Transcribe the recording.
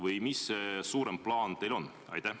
Või mis see suurem plaan teil on?